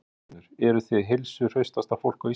Magnús Hlynur: Eruð þið heilsuhraustasta fólk á Íslandi?